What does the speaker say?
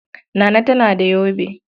Nana tana da yobe.